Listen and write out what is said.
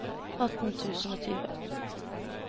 atten tusen og tjue